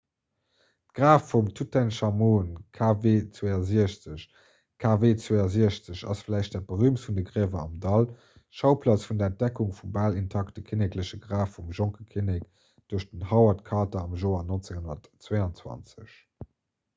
graf vum tutenchamun kv62. kv62 ass vläicht dat berüümtst vun de griewer am dall schauplaz vun der entdeckung vum bal intakte kinnekleche graf vum jonke kinnek duerch den howard carter am joer 1922